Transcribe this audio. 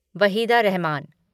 Waheeda Rehman